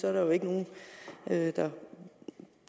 er der jo ikke nogen der